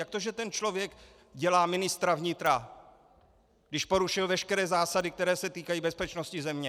Jak to, že ten člověk dělá ministra vnitra, když porušil veškeré zásady, které se týkají bezpečnosti země?